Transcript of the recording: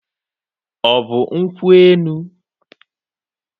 Ọ bụ nkwụ enu.